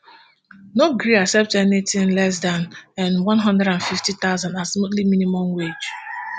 no gree accept anything less dan n one hundred and fifty thousand as monthly minimum wage